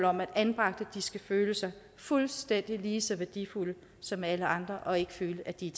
om at anbragte skal føle sig fuldstændig lige så værdifulde som alle andre og ikke føle at de